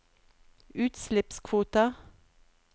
utslippskvoter